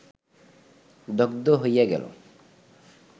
দগ্ধ হইয়া গেল